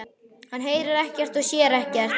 Hann heyrir ekkert og sér ekkert.